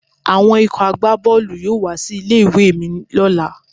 Àwọn ikọ̀ àgbá Bọ́ọ̀lù yóò wá sí ilé ìwé mi lọ́la.